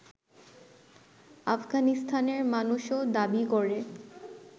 আফগানিস্তানের মানুষও দাবি করে